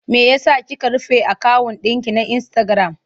Me ya sa kika rufe akawun ɗinki na insitagiram?